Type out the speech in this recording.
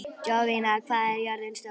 Jovina, hvað er jörðin stór?